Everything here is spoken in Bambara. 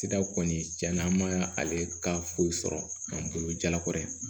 Sira kɔni tiɲɛ na an ma ale ka foyi sɔrɔ k'an bolo jalakɔ ye